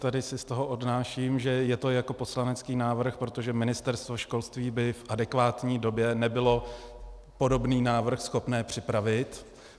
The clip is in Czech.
Tady si z toho odnáším, že je to jako poslanecký návrh, protože Ministerstvo školství by v adekvátní době nebylo podobný návrh schopné připravit.